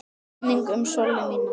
Minning um Sollu mína.